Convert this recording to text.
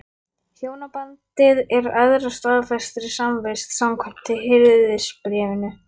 Hjónabandið er æðra staðfestri samvist, samkvæmt Hirðisbréfinu.